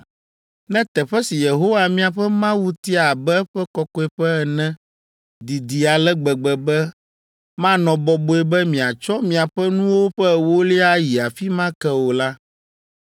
Ne teƒe si Yehowa miaƒe Mawu tia abe eƒe kɔkɔeƒe ene didi ale gbegbe be manɔ bɔbɔe be miatsɔ miaƒe nuwo ƒe ewolia ayi afi ma ke o la,